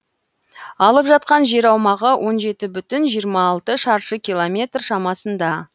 алып жатқан жер аумағы он жеті бүтін жиырма алты шаршы километр шамасында